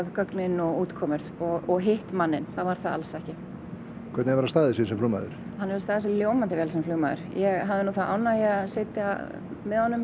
gögnin og útkomuna og hitt manninn þá var það alls ekki hvernig hefur hann staðið sig sem flugmaður hann hefur staðið sig ljómandi vel sem flugmaður ég hafði þá ánægju að sitja með honum